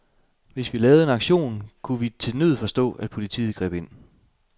Hvis vi lavede en aktion, kunne vi til nød forstå, at politiet greb ind.